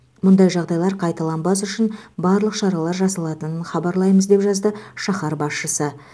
мұндай жағдайлар қайталанбас үшін барлық шаралар жасалатынын хабарлаймыз деп жазды шаһар басшысы